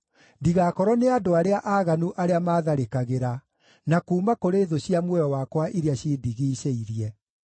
ndigakorwo nĩ andũ arĩa aaganu arĩa maatharĩkagĩra, na kuuma kũrĩ thũ cia muoyo wakwa iria cindigiicĩirie.